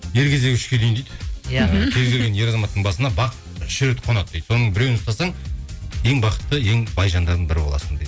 ер кезегі үшке дейін дейді иә кез келген ер азаматтың басына бақ үш рет қонады дейді соның біреуін ұстасаң ең бақытты ең бай жандардың бірі боласың